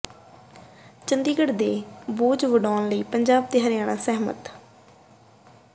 ਚੰਡੀਗੜ੍ਹ ਦਾ ਬੋਝ ਵੰਡਾਉਣ ਲਈ ਪੰਜਾਬ ਤੇ ਹਰਿਆਣਾ ਸਹਿਮਤ